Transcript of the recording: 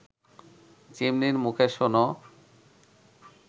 চিমনির মুখে শোনো